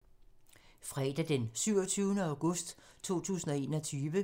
Fredag d. 27. august 2021